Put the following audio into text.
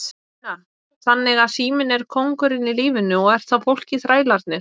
Una: Þannig að síminn er kóngurinn í lífinu og er þá fólkið þrælarnir?